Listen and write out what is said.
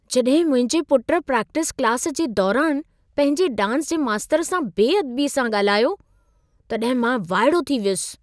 जॾहिं मुंहिंजे पुट प्रैक्टिस क्लास जे दौरान पंहिंजे डांस जे मास्तर सां बेअदबीअ सां ॻाल्हायो, तॾहिं मां वाइड़ो थी वियुसि।